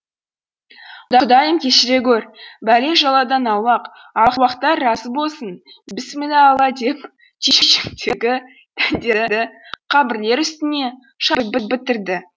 құдайым кешіре гөр бәле жаладан аулақ аруақтар разы болсын бісміллә алла деп түйіншектегі дәндерді қабірлер үстіне шашып бітірді